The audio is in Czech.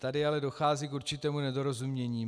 Tady ale dochází k určitému nedorozumění.